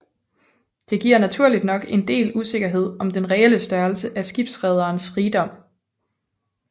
Det giver naturligt nok en del usikkerhed om den reelle størrelse af skibsrederens rigdom